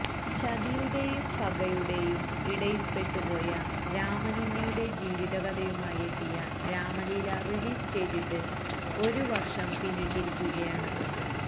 ചതിയുടെയും പകയുടെയും ഇടയില്പ്പെട്ടുപോയ രാമനുണ്ണിയുടെ ജീവിതകഥയുമായെത്തിയ രാമലീല റിലീസ് ചെയ്തിട്ട് ഒരു വര്ഷം പിന്നിട്ടിരിക്കുകയാണ്